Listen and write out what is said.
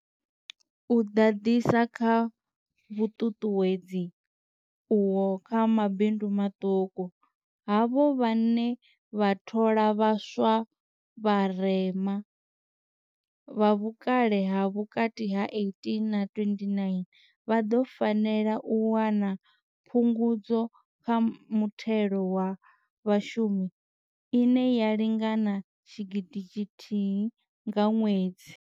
U ḓadzisa kha vhuṱuṱuwedzi uho kha mabindu maṱuku, havho vhane vha thola vha swa vha vharema, vha vhukale ha vhukati ha 18 na 29, vha ḓo fanela u wana Phungudzo kha Muthelo wa Vhashumi ine ya lingana R1 000 nga ṅwedzi.